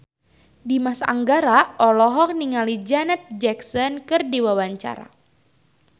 Dimas Anggara olohok ningali Janet Jackson keur diwawancara